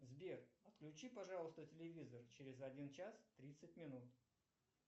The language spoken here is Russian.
сбер отключи пожалуйста телевизор через один час тридцать минут